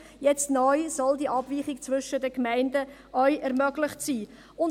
Jetzt soll neu die Abweichung zwischen den Gemeinden auch ermöglicht werden.